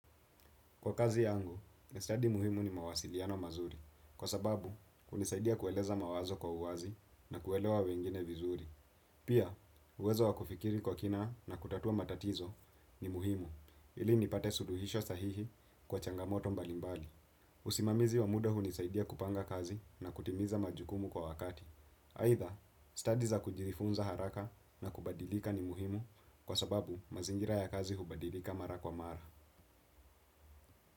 Kwa kazi yangu, study muhimu ni mawasiliano mazuri, kwa sababu hunisaidia kueleza mawazo kwa uwazi na kuelewa wengine vizuri. Pia, uwezo wa kufikiri kwa kina na kutatua matatizo ni muhimu, ili nipate suluhisho sahihi kwa changamoto mbalimbali. Usimamizi wa muda hunisaidia kupanga kazi na kutimiza majukumu kwa wakati. Aidha, study za kujifunza haraka na kubadilika ni muhimu, kwa sababu mazingira ya kazi hubadilika mara kwa mara.